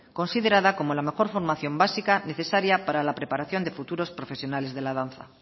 considerada como la mejor formación básica necesaria para la preparación de futuros profesionales de la danza